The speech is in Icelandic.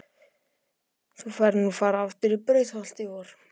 Þú færð nú að fara aftur í Brautarholt í vor.